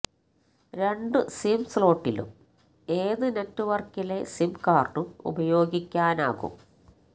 രണ്ടു സിം സ്ലോട്ടിലും ഏതു നെറ്റ്വര്ക്കിലെ സിം കാര്ഡും ഉപയോഗിക്കാനാകും